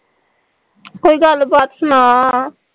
ਕੋਈ ਗੱਲ ਬਾਤ ਸੁਣਾ